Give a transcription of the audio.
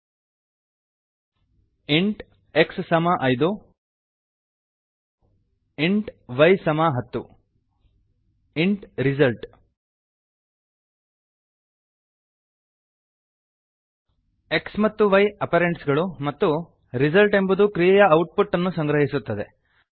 int int x 5 x ಸಮ ಐದು int int y 10 y ಸಮ ಹತ್ತು ಇಂಟ್int ರಿಸಲ್ಟ್ ರಿಸಿಲ್ಟ್ x ಮತ್ತು y ಅಪರೆಂಡ್ಸ್ ಗಳು ಮತ್ತು ರಿಸಲ್ಟ್ ಎಂಬುದು ಕ್ರಿಯೆಯ ಔಟ್ ಪುಟ್ ಅನ್ನು ಸಂಗ್ರಹಿಸುತ್ತದೆ